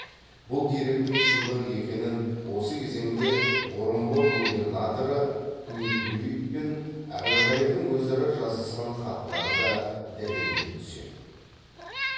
бұл деректің шындық екенін осы кезеңде орынбор губернаторы неплюев пен әбілқайырдың өзара жазысқан хаттары да дәлелдей түседі